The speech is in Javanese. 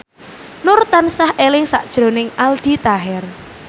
Nur tansah eling sakjroning Aldi Taher